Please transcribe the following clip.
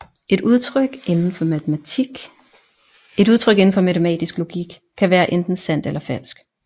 Et udtryk indenfor matematisk logik kan være enten sandt eller falsk